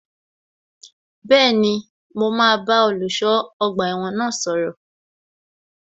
Bẹ́ẹ̀ni, mo máa bá olùṣọ́ ọgbà ẹ̀wọ̀n náà sọ̀rọ̀